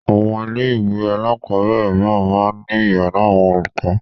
Àwọn ilé-ìwé alákọ̀ọ́bẹ̀rẹ̀ mìíràn máa ń ní ìyàrá àwọn olùkọ́.